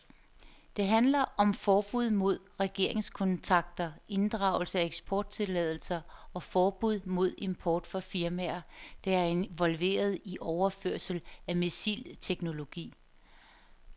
Det handler om forbud mod regeringskontakter, inddragelse af eksporttilladelser og forbud mod import fra firmaer, der er involveret i overførelser af missilteknologi.